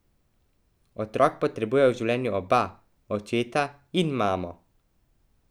Otrok potrebuje v življenju oba, očeta in mamo!